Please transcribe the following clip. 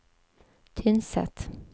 Tynset